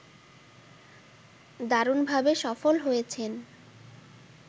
দারুণভাবে সফল হয়েছেন